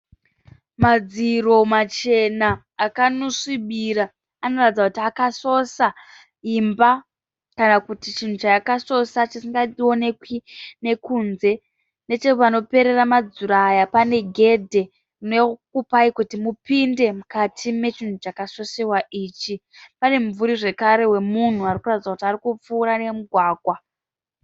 Madziro machena akanosvibira, anoratidza kuti akasosa imba kana chinhu chaakasosa chisingaonekwi nekunze. Nechepanoperera madziro aya pane gedhe rinokupayi kuti mupinde pane chakasosewa ichi. Pane mumvuri zvakare wemunhu arikuratidza kuti ari kupfuura nemugwagwa.